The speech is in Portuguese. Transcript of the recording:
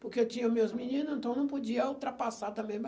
Porque eu tinha meus meninos, então não podia ultrapassar também minha